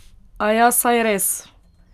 Aja, saj res!